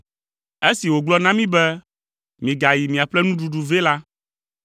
Esi wògblɔ na mí be, ‘Migayi miaƒle nuɖuɖu vɛ’ la,